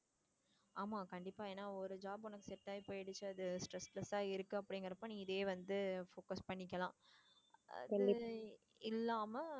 ஆமா கண்டிப்பா ஏன்னா ஒரு set ஆகி போயிடுச்சு அது stressless ஆ இருக்கு அப்படிங்கறப்ப நீ இதையே வந்து focus பண்ணிக்கலாம், அது இல்லாம